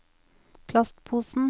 plastposen